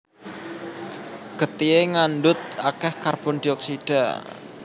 Getihé ngandhut akèh karbon dioksida